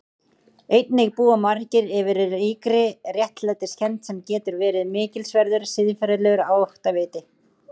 Einnig búa margir yfir ríkri réttlætiskennd sem getur verið mikilsverður siðferðilegur áttaviti.